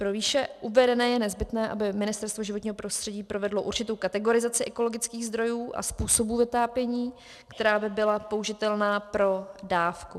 Pro výše uvedené je nezbytné, aby Ministerstvo životního prostředí provedlo určitou kategorizaci ekologických zdrojů a způsobů vytápění, která by byla použitelná pro dávku.